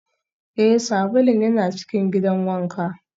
Ee, sabulun yana cikin gidan wanka